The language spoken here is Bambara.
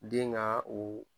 Den ŋa o